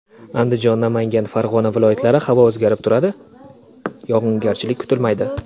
Andijon, Namangan, Farg‘ona viloyatlari Havo o‘zgarib turadi, yog‘ingarchilik kutilmaydi.